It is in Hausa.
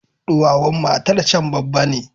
Duwawun matarcan babba ne.